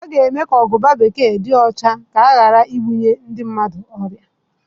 A ga mee ka aguba bekee di ocha nke ọma ka ghara ibunye ndi mmadụ ọrịa.